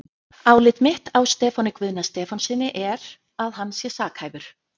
Álit mitt á Stefáni Guðna Stefánssyni er, að hann sé sakhæfur.